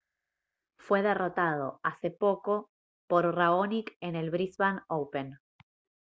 fue derrotado hace poco por raonic en el brisbane open